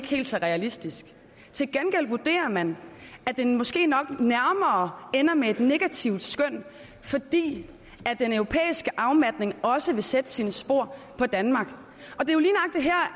helt så realistisk til gengæld vurderer man at det måske nok nærmere ender med et negativt skøn fordi den europæiske afmatning også vil sætte sine spor i danmark og det